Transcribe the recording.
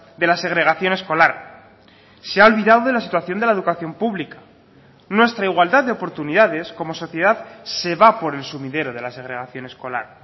de la segregación escolar se ha olvidado de la situación de la educación pública nuestra igualdad de oportunidades como sociedad se va por el sumidero de la segregación escolar